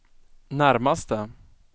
närmaste